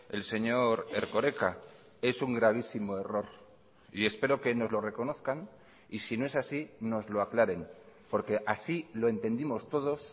el señor erkoreka es un gravísimo error y espero que nos lo reconozcan y si no es así nos lo aclaren porque así lo entendimos todos